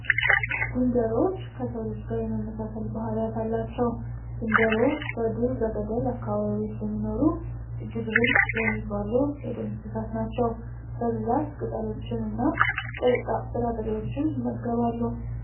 ዝንጀሮዎች ከሰው ልጅ ጋር የመመሳሰል ባህሪያት አላቸው። ዝንጀሮ በዱር በገደል አካባቢዎች የሚኖሩ እጅግ ብልጥ የሚባሉ የዱር እንስሳት ናቸው። በብዛት ቅጠሎችን እና ጥርጣሬዎችን ይመገባሉ።